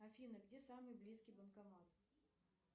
афина где самый близкий банкомат